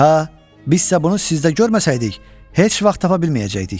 Hə, bizsə bunu sizdə görməsəydik, heç vaxt tapa bilməyəcəkdik.